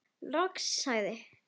Loks sagði